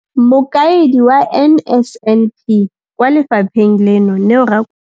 Mokaedi wa NSNP kwa lefapheng leno, Neo Rakwena.